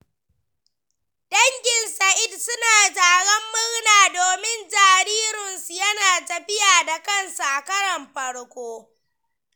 Dangin Sa’id sunyi taron murna domin jaririnsu yana tafiya da kansa a karon farko.